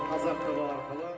қазақ тв арқылы